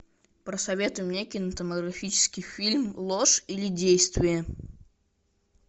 посоветуй мне кинематографический фильм ложь или действие